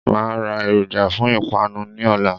Màá a ra èròjà fún ìpanu ní òla